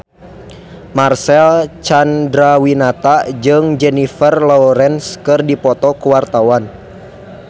Marcel Chandrawinata jeung Jennifer Lawrence keur dipoto ku wartawan